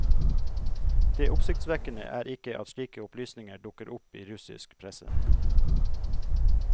Det oppsiktsvekkende er ikke at slike opplysninger dukker opp i russisk presse.